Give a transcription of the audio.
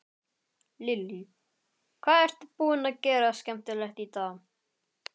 Lillý: Hvað ertu búinn að gera skemmtilegt í dag?